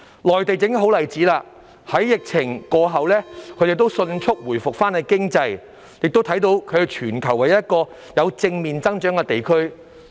內地正是一個好例子，在疫情過後，他們已迅速恢復經濟，亦能看到他們是全球唯一一個有正面增長的地區。